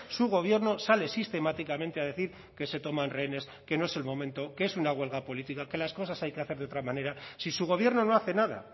su gobierno sale sistemáticamente a decir que se toman rehenes que no es el momento que es una huelga política que las cosas hay que hacer de otra manera si su gobierno no hace nada